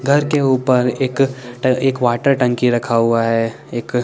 घर के उपर एक ट एक वाटर टंकी रखा हुआ है एक--